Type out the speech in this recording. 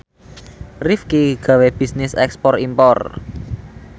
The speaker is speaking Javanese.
Rifqi gawe bisnis ekspor impor